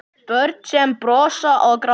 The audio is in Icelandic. Börn sem brosa og gráta.